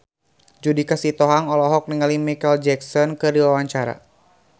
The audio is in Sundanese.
Judika Sitohang olohok ningali Micheal Jackson keur diwawancara